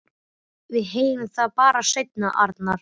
Við heyrum það bara seinna, Arnar.